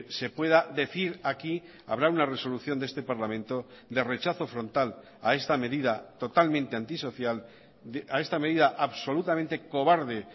se pueda decir aquí habrá una resolución de este parlamento de rechazo frontal a esta medida totalmente antisocial a esta medida absolutamente cobarde